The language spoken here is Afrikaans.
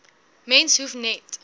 mens hoef net